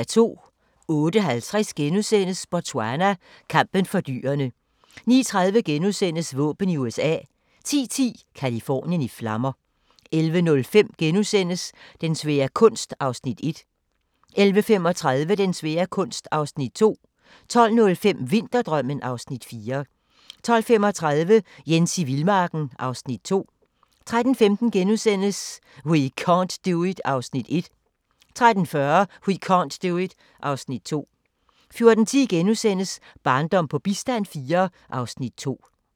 08:50: Botswana: Kampen for dyrene * 09:30: Våben i USA * 10:10: Californien i flammer 11:05: Den svære kunst (Afs. 1)* 11:35: Den svære kunst (Afs. 2) 12:05: Vinterdrømmen (Afs. 4) 12:35: Jens i vildmarken (Afs. 2) 13:15: We can't do it (Afs. 1)* 13:40: We can't do it (Afs. 2) 14:10: Barndom på bistand IV (Afs. 2)*